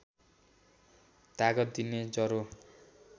तागत दिने जरो